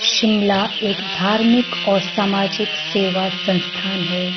शिमला एक धार्मिक और सामाजिक सेवा संस्थान है।